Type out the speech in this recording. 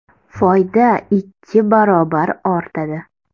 Foyda ikki barobar ortadi.